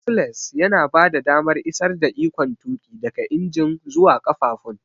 Axles yana bada damar isar da ikon tuƙi daga injin zuwa ƙafafun.